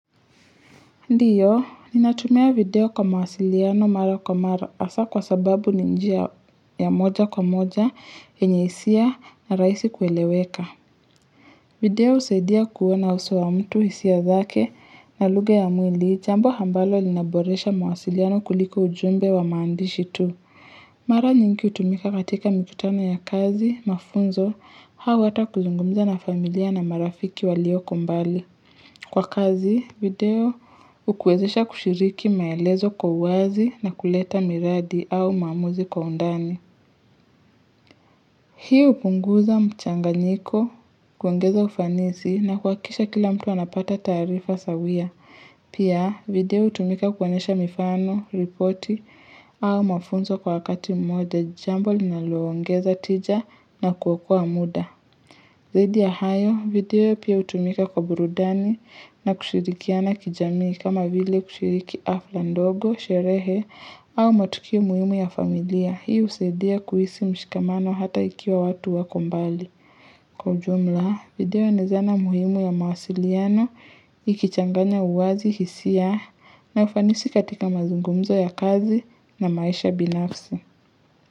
Ndiyo, ninatumia video kwa mawasiliano mara kwa mara hasa kwa sababu ni njia ya moja kwa moja enye isia na raisi kueleweka. Video husaidia kuwana uso wa mtu isia zake na lugha ya mwili, jambo ambalo linaboresha mawasiliano kuliko ujumbe wa maandishi tu. Mara nyingi hutumika katika mikutana ya kazi, mafunzo, hau wata kuzungumza na familia na marafiki walioko mbali. Kwa kazi, video ukuwezesha kushiriki maelezo kwa uwazi na kuleta miradi au maamuzi kwa undani. Hiu kunguza mchanga nyiko kuongeza ufanisi na kuakisha kila mtu wanapata tarifa sawia. Pia, video utumika kuwanesha mifano, ripoti au mafunzo kwa wakati moja jambo linaloongeza tija na kuwakua muda. Zaidi ya hayo, video pia utumika kwa burudani na kushirikiana kijamii kama vile kushiriki afla ndogo, sherehe au matuki muhimu ya familia. Hiu usaidia kuhisi mshikamano hata ikiwa watu wako mbali. Kwa ujumla, video naezana muhimu ya mawasiliana, ikichanganya uwazi, hisia na ufanisi katika mazungumzo ya kazi na maisha binafsi.